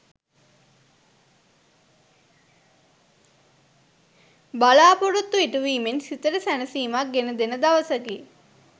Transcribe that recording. බලා‍පොරොත්තු ඉටුවීමෙන් සිතට සැනසීමක් ගෙන දෙන දවසකි.